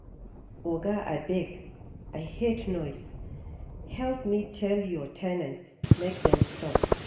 Oga abeg I hate noise help me tell your ten ants make dem stop